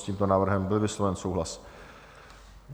S tímto návrhem byl vysloven souhlas.